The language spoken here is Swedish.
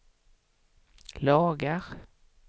lagar